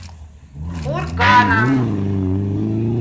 курганом